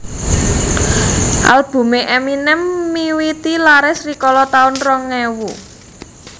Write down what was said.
Albume Eminem miwiti laris rikala taun rong ewu